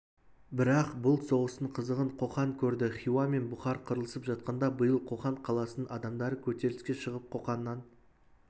бірақ бұл соғыстың қызығын қоқан көрді хиуа мен бұхар қырылысып жатқанда биыл қоқан қаласының адамдары көтеріліске шығып қоқаннан